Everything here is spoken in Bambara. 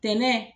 Tɛntɛn